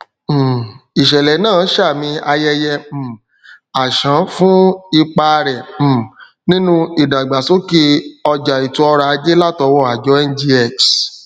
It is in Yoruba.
um ìṣẹlẹ náà ṣamí ayẹyẹ um ashon fún ipa rẹ um nínú ìdàgbàsókè ọjà ètò oròajé latọwọ àjọ ngx